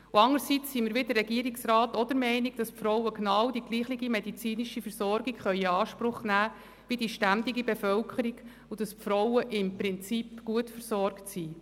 Andererseits sind wir wie der Regierungsrat der Meinung, dass diese Frauen genau dieselbe medizinische Versorgung in Anspruch nehmen können wie die ständige Wohnbevölkerung, und dass sie im Prinzip gut versorgt sind.